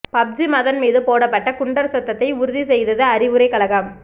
PUBG Madan மீது போடப்பட்ட குண்டர் சட்டத்தை உறுதி செய்தது அறிவுரைக் கழகம்